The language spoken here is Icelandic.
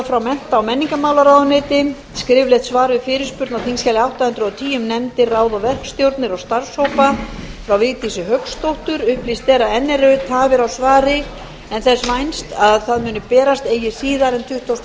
frá mennta og menningarmálaráðuneyti skriflegt svar við fyrirspurn á þingskjali átta hundruð og tíu um nefndir ráð og verkstjórnir og starfshópa frá vigdísi hauksdóttur upplýst er að enn eru tafir á svari en þess vænst að það muni berast eigi síðar en tuttugasta og